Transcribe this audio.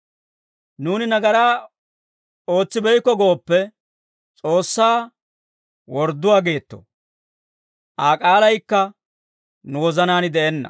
Nuuni nagaraa ootsibeykko gooppe, S'oossaa wordduwaa geetto; Aa k'aalaykka nu wozanaan de'enna.